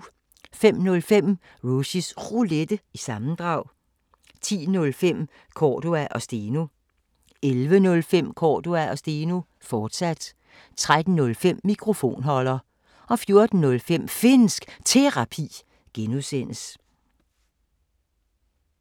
05:05: Rushys Roulette – sammendrag 10:05: Cordua & Steno 11:05: Cordua & Steno, fortsat 13:05: Mikrofonholder 14:05: Finnsk Terapi (G)